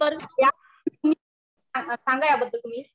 ज्या अर्थी तुम्ही, सांगा या बद्दल तुम्ही.